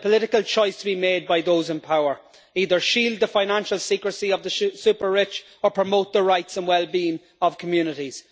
There is a political choice to be made by those in power. Either shield the financial secrecy of the super rich, or promote the rights and wellbeing of communities.